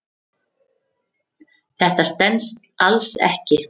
Þetta stenst alls ekki.